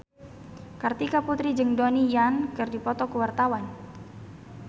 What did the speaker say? Kartika Putri jeung Donnie Yan keur dipoto ku wartawan